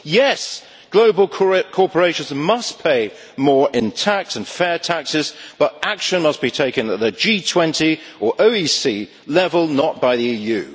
Yes, global corporations must pay more in tax and fair taxes, but action must be taken at the G20 or OEC level, not by the EU.